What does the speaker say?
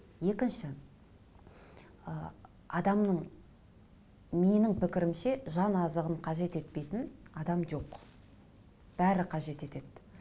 екінші ы адамның менің пікірімше жан азығын қажет етпейтін адам жоқ бәрі қажет етеді